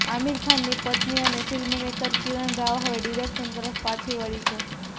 આમિર ખાનની પત્ની અને ફિલ્મમેકર કિરણ રાવ હવે ડીરેક્શન તરફ પાછી વળી છે